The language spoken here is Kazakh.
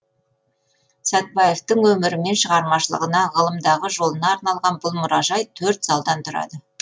сәтбаевтың өмірі мен шығармашылығына ғылымдағы жолына арналған бұл мұражай төрт залдан тұрады